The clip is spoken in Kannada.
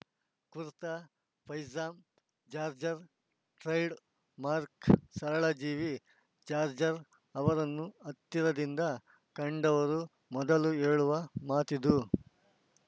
ಕುರ್ತಾ ಪೈಜಾಮಾ ಜಾಜ್‌ರ್ ಟ್ರೇಡ್‌ ಮಾರ್ಕ್ ಸರಳಜೀವಿ ಜಾಜ್‌ರ್ ಅವರನ್ನು ಹತ್ತಿರದಿಂದ ಕಂಡವರು ಮೊದಲು ಹೇಳುವ ಮಾತಿದು